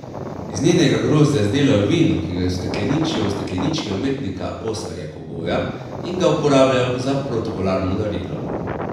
Iz njenega grozdja izdelajo vino, ki ga ustekleničijo v stekleničke umetnika Oskarja Kogoja in ga uporabljajo za protokolarno darilo.